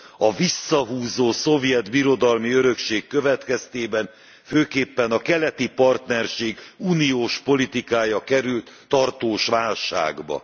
A visszahúzó szovjet birodalmi örökség következtében főképpen a keleti partnerség uniós politikája került tartós válságba.